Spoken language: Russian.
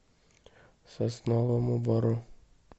сосновому бору